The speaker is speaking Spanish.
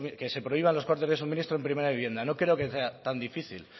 que se prohíban los cortes de suministros en primera vivienda no creo que sea tan difícil